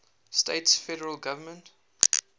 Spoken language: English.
states federal government